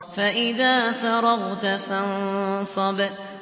فَإِذَا فَرَغْتَ فَانصَبْ